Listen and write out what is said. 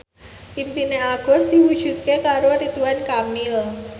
impine Agus diwujudke karo Ridwan Kamil